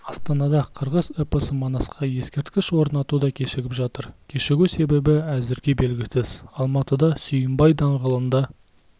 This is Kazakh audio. астанада қырғыз эпосы манасқа ескерткіш орнату да кешігіп жатыр кешігу себебі әзірге белгісіз алматыда сүйінбай даңғылында